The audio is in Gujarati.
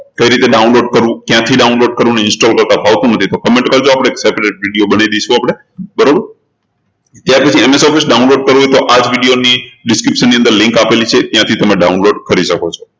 કઈ રીતે download કરવું ક્યાંથી download કરવું અને install કરતા ફાવતું નથી તો comment કરજો આપણે separate video બનાઈ દઈશું આપણે બરોબર ત્યારપછી download કરવું તો આ video ની description અંદર link આપેલી છે ત્યાંથી તમે download કરી શકો છો